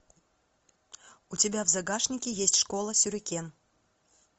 у тебя в загашнике есть школа сюрикен